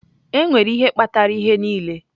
Enwere ihe kpatara ihe niile.